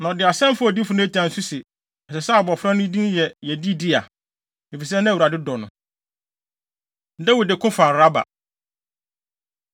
na ɔde asɛm faa odiyifo Natan so se, ɛsɛ sɛ abofra no din yɛ Yedidia, efisɛ na Awurade dɔ no. Dawid Ko Fa Raba